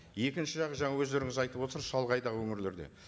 екінші жақ жаңа өздеріңіз айтып отырсыз шалғайдағы өңірлерде